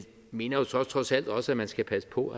mener trods alt også at man skal passe på